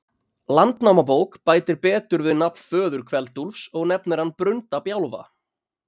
Landnámabók bætir betur við nafn föður Kveld-Úlfs og nefnir hann Brunda-Bjálfa.